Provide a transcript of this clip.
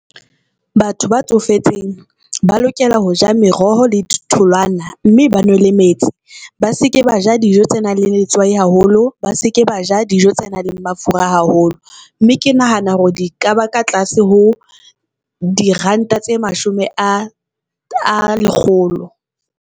Batho ba tsofetseng ba lokela ho ja meroho le ditholwana, mme ba nwe le metsi. Ba seke ba ja dijo tse nang le letswai haholo, ba seke ba ja dijo tse nang le mafura haholo. Mme ke nahana hore di kaba ka tlase ho diranta tse mashome a a lekgolo.